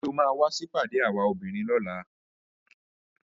Ṣé o máa wá sí ìpàdé àwa obìnrin lọ́la?